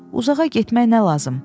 Uzağa getmək nə lazım?